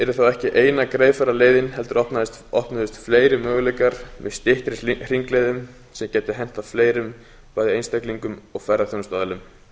þá ekki eina greiðfæra leiðin heldur opnuðust fleiri möguleikar með styttri hringleiðum sem gætu hentað fleirum bæði einstaklingum og ferðaþjónustuaðilum